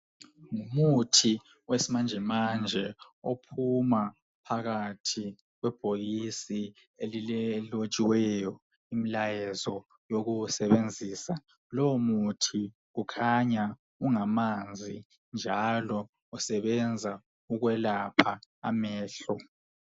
Umuthi wesimanje manje ophuma phakathi kwebhokisi elilotshiweyo umlayezo wokuwusebenzisa. Lowo muthi kukhanya ungamanzi njalo usebenza ukwelapha amehlo.